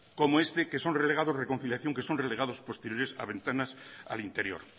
como este que son relegados posteriores a ventanas al interior